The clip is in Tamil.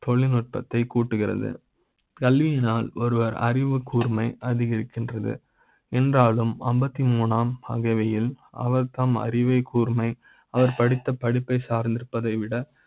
தொழில் நுட்ப்பத்தை கூட்டுகிறது. கல்வி யினால் ஒருவர் அறிவுக்கூர்மை அதிகரிக்கின்றது என்றாலும் அம்பத்தி மூன்றாம் ஆகியவை யில் அவர் தம் அறிவை கூர்மை அவர் படித்த படிப்பை சார்ந்திருப்பதை விட